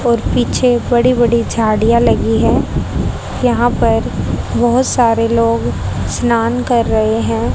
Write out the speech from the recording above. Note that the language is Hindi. और पीछे बड़ी बड़ी झाड़ियां लगी है यहां पर बहोत सारे लोग स्नान कर रहे हैं।